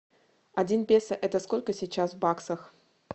один песо это сколько сейчас в баксах